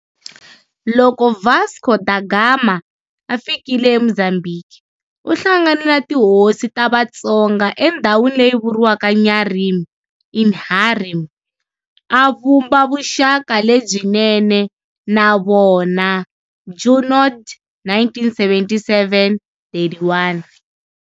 Loko Vasco Da Gama a fikile eMozambiki, u hlanganile na tihosi ta Vatsonga endhawini leyi vuriwaka Nyarimi, Inharime, a vumba vuxaka lebyinene na vona, Junod, 1977-31.